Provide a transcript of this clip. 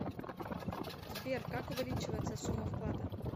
сбер как увеличивается сумма вклада